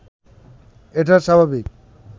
এটা স্বাভাবিক